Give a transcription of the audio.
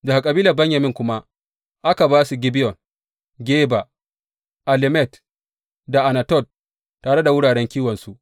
Daga kabilar Benyamin kuma aka ba su Gibeyon, Geba, Alemet da Anatot, tare da wuraren kiwonsu.